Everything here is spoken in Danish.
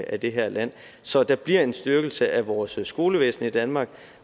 af det her land så der bliver en styrkelse af vores skolevæsen i danmark